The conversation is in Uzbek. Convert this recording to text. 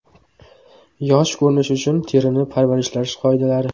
Yosh ko‘rinish uchun terini parvarishlash qoidalari.